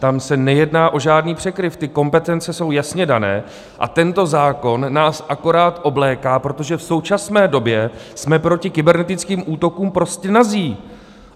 Tam se nejedná o žádný překryv, ty kompetence jsou jasně dané a tento zákon nás akorát obléká, protože v současné době jsme proti kybernetickým útokům prostě nazí.